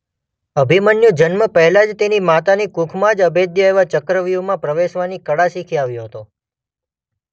અભિમન્યુ જન્મ પહેલાં જ તેની માતાની કુખમાં જ અભેદ્ય એવા ચક્રવ્યુહમાં પ્રવેશવાની કળા શીખી આવ્યો હતો.